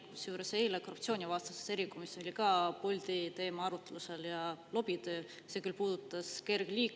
Kusjuures eile oli meil korruptsioonivastases erikomisjonis ka Bolti teema arutlusel ja see lobitöö, mis küll puudutas kergliikureid.